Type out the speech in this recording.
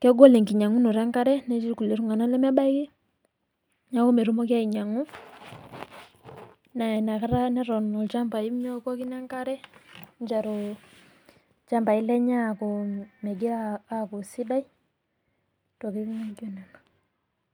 kegol enkinyang'unoto enkare, naa ketii ilemebaiki aainyang'u enkare naa keton ilchambai lenye eitu etum nkariak.